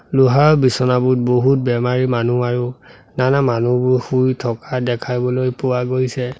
লোহাৰ বিছনাবোৰত বহুত বেমাৰী মানুহ আৰু নানা মানুহবোৰ শুই থকা দেখাবলৈ পোৱা গৈছে।